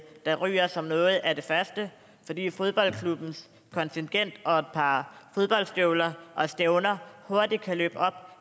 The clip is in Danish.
der ryger som noget af det første fordi fodboldklubbens kontingent og et par fodboldstøvler og stævner hurtigt kan løbe op